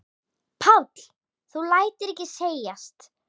Páll: Þú lætur ekki segjast?